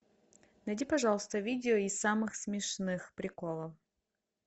найди пожалуйста видео из самых смешных приколов